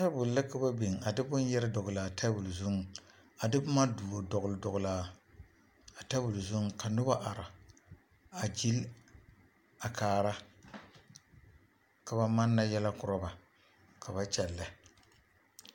Tabol la ka ba biŋ a de bone yɛre dɔgele a tabol zuŋ, a de boma duo dɔgele dɔgele a tabol zu ka noba are a gyili a kaara ka ba manna yɛlɛ korɔ ba ka ba kyɛllɛ.